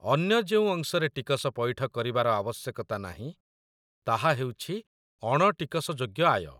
ଅନ୍ୟ ଯେଉଁ ଅଂଶରେ ଟିକସ ପଇଠ କରିବାର ଆବଶ୍ୟକତା ନାହିଁ, ତାହା ହେଉଛି ଅଣ ଟିକସଯୋଗ୍ୟ ଆୟ।